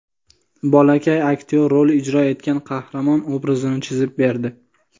Bolakay aktyor rol ijro etgan qahramon obrazini chizib berdi.